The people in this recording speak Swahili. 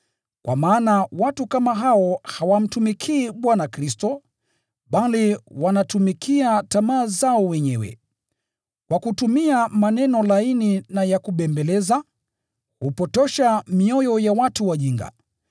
Kwa maana watu kama hao hawamtumikii Bwana Kristo, bali wanatumikia tamaa zao wenyewe. Kwa kutumia maneno laini na ya kubembeleza, hupotosha mioyo ya watu wajinga.